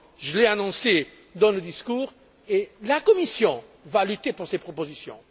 Je l'ai annoncé dans le discours et la Commission va lutter pour ces propositions.